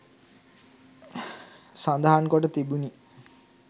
සඳහන් කොට තිබිණි